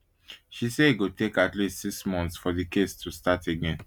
she say e go take at least six months for di case to start again